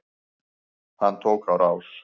Hann tók á rás.